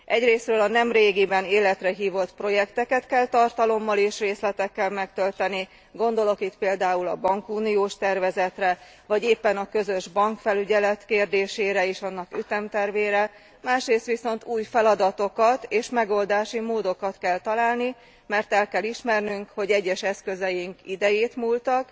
Egyrészről a nemrégiben életre hívott projekteket kell tartalommal és részletekkel megtölteni, gondolok itt például a bankuniós tervezetre, vagy éppen a közös bankfelügyelet kérdésére és annak ütemtervére, másrész viszont új feladatokat és megoldási módokat kell találni, mert el kell ismernünk, hogy egyes eszközeink idejétmúltak